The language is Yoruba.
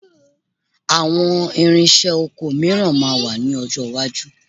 Àwọn ìrinṣẹ́ oko mìíràn máa wà lọ́jọ́ iwájú